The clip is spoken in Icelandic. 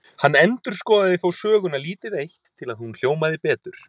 Hann endurskoðaði þó söguna lítið eitt, til að hún hljómaði betur.